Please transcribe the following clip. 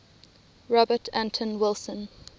robert anton wilson